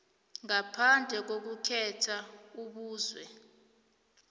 ngaphandle kokukhetha ubuzwe